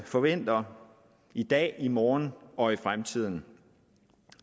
forventer i dag i morgen og i fremtiden